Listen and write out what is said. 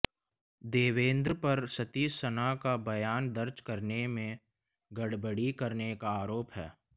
देवेंद्र पर सतीश सना का बयान दर्ज करने में गड़बड़ी करने का आरोप है